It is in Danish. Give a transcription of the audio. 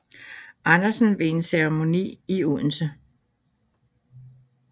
Andersen ved en ceremoni i Odense